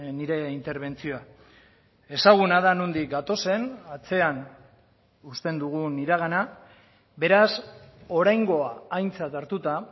nire interbentzioa ezaguna da nondik gatozen atzean uzten dugun iragana beraz oraingoa aintzat hartuta